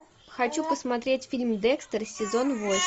хочу посмотреть фильм декстер сезон восемь